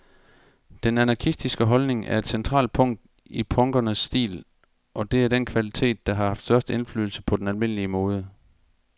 Den anarkistiske holdning er et centralt punkt i punkernes stil, og det er den kvalitet, der har haft størst indflydelse på den almindelige mode.